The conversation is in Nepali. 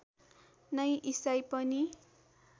नै इसाई पनि